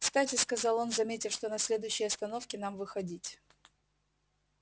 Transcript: кстати сказал он заметив что на следующей остановке нам выходить